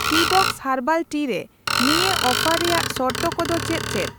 Teabox herbal tea ᱨᱮ ᱱᱤᱭᱟᱹ offer ᱨᱮᱭᱟᱜ ᱥᱚᱨᱛᱚ ᱠᱚᱫᱚ ᱪᱮᱫ ᱪᱮᱫ ?